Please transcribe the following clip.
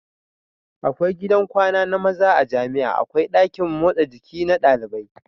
Akwai gidan kwana na maza a jamia akwai dakin motsa jiki na ɗalibai